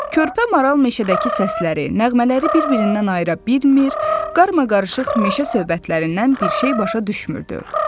Körpə maral meşədəki səsləri, nəğmələri bir-birindən ayıra bilmir, qarmaqarışıq meşə söhbətlərindən bir şey başa düşmürdü.